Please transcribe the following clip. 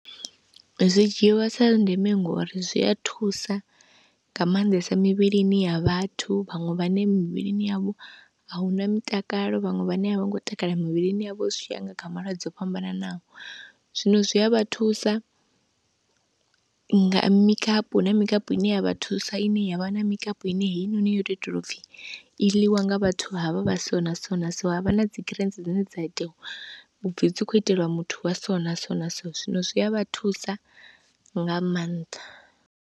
Zwi dzhiwa sa ndeme ngori zwi a thusa nga maanḓesa mivhilini ya vhathu vhaṅwe vhane mivhilini yavho ahuna mutakalo, vhaṅwe vhane a vho ngo takala mivhilini yavho zwi tshi ya nga kha malwadze o fhambananaho, zwino zwi a vha thusa nga mikapu, huna mikapu ine ya vha thusa ine ya vha na mikapu ine heinoni yo tou itelwa u pfhi i ḽiwa nga vhathu havha vha so na so na so, ha vha na dzi greens dzine dza itiwa u pfhi dzi khou iteliwa muthu wa so na so na so, zwino zwi a vha thusa nga maanḓa.